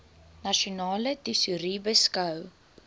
nasionale tesourie beskou